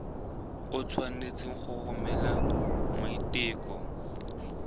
o tshwanetse go romela maiteko